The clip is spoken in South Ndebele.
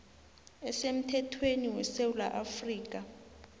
asemthethweni wesewula afrika